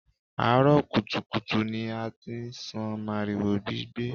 Àárọ̀ kùtùkùtù ni a ti ń sán màrìwò gbígbẹ